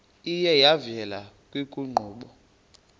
iye yavela kwiinkqubo